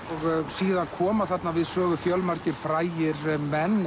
síðan koma þarna við sögu fjölmargir frægir menn